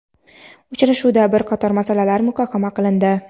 Uchrashuvda bir qator masalalar muhokama qilindi.